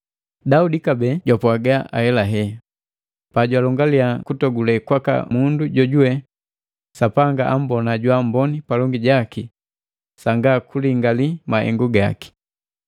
Daudi kabee jwapwaga ahelahe pajwalongalia kutogule kwaka mundu jojuwe Sapanga ambona jwaamboni palongi jaki sanga kulingali mahengu gaki: